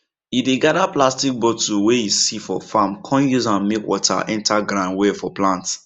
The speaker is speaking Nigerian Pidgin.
e dey gather plastic bottle wey e see for farm come use am make water enter ground well for plant